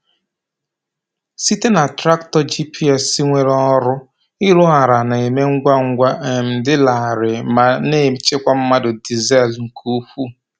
Site na traktọ GPS nwere ọrụ, ịrụ ala na-eme ngwa ngwa, um dị larịị, ma na-echekwa mmanụ dizel nke ukwuu.